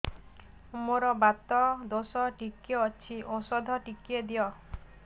ମୋର୍ ବାତ ଦୋଷ ଟିକେ ଅଛି ଔଷଧ ଟିକେ ଦିଅ